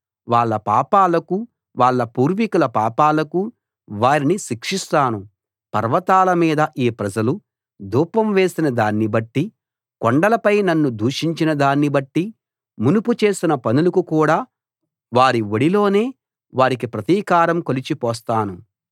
వాళ్ళ పాపాలకూ వాళ్ళ పూర్వీకుల పాపాలకూ వారిని శిక్షిస్తాను పర్వతాలమీద ఈ ప్రజలు ధూపం వేసిన దాన్ని బట్టి కొండలపై నన్ను దూషించిన దాన్ని బట్టి మునుపు చేసిన పనులకు కూడా వారి ఒడిలోనే వారికి ప్రతీకారం కొలిచి పోస్తాను